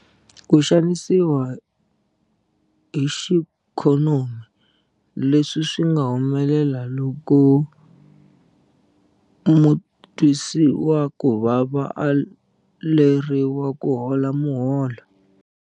Ku xanisiwa hi xiikhonomi- Leswi swi nga humelela loko mutwisiwakuvava a aleriwa kuhola muholo.